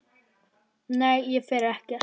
Nei, ég fer ekkert.